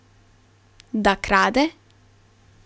Da krade?